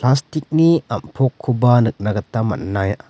stick-ni am·pokkoba nikna gita man·ai--